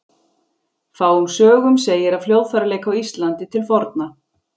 Fáum sögum segir af hljóðfæraleik á Íslandi til forna.